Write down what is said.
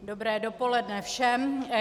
Dobré dopoledne všem.